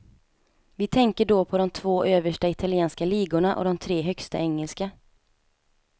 Vi tänker då på de två översta italienska ligorna, och de tre högsta engelska.